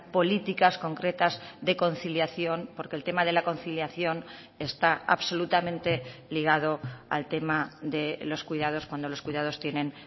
políticas concretas de conciliación porque el tema de la conciliación está absolutamente ligado al tema de los cuidados cuando los cuidados tienen